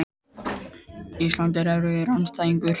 Ísland er mjög erfiður andstæðingur.